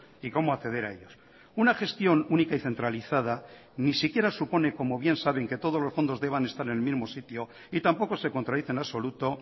y cómo acceder a ellos una gestión única y centralizada ni siquiera supone como bien saben que todos los fondos deban estar en el mismo sitio y tampoco se contradice en absoluto